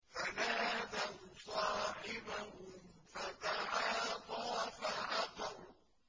فَنَادَوْا صَاحِبَهُمْ فَتَعَاطَىٰ فَعَقَرَ